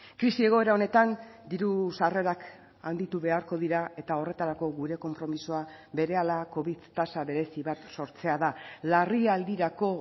krisi egoera honetan diru sarrerak handitu beharko dira eta horretarako gure konpromisoa berehala covid tasa berezi bat sortzea da larrialdirako